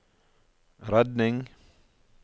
redning